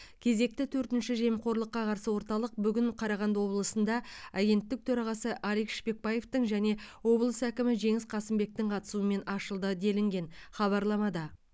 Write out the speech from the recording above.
кезекті төртінші жемқорлыққа қарсы орталық бүгін қарағанды облысында агенттік төрағасы алик шпекбаевтың және облыс әкімі жеңіс қасымбектің қатысуымен ашылды делінген хабарламада